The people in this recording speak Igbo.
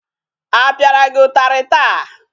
A pịara gị ụtarị taa?